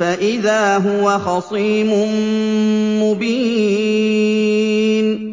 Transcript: فَإِذَا هُوَ خَصِيمٌ مُّبِينٌ